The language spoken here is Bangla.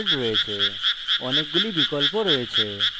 এর জন্য অনেকগুলি বিকল্প আছে